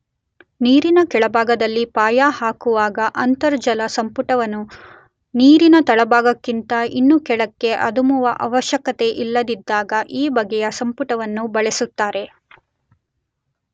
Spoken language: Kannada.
ನೀರಿನ ಕೆಳಭಾಗದಲ್ಲಿ ಪಾಯ ಹಾಕುವಾಗ ಅಂತರ್ಜಲಸಂಪುಟವನ್ನು ನೀರಿನ ತಳಭಾಗಕ್ಕಿಂತ ಇನ್ನೂ ಕೆಳಕ್ಕೆ ಅದುಮುವ ಆವಶ್ಯಕತೆಯಿಲ್ಲದಿದ್ದಾಗ ಈ ಬಗೆಯ ಸಂಪುಟವನ್ನು ಬಳಸುತ್ತಾರೆ.